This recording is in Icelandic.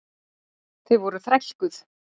Þau voru þrælkuð.